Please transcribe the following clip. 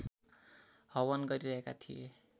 हवन गरिरहेका थिए